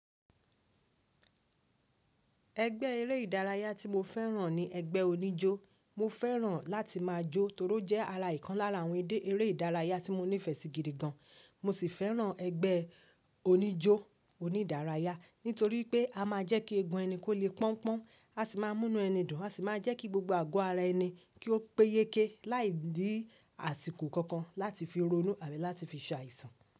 Ẹgbẹ́ eré ìdárayá tí mo fẹ́ràn ni ẹgbẹ́ oníjó. Mo fẹ́ràn láti máa jó torí ó jẹ́ ara ìkan lára àwọn eré ìdárayá tí mo nífẹ̀ẹ́ sí gidi gan. Mo sì fẹ́ràn ẹgbẹ́ oníjó onídárayá nítorí pé a máa ń jẹ́ kí ẹgun ẹni kó le pọ́n pọ́n, a sì máa ń mú inú ẹni dùn, a sì máa jẹ́ kí gbogbo àgọ́ ara ẹni kí ó pé yéké láìní àsìkò kankan láti fi ronú àbi láti fi ṣàìsàn.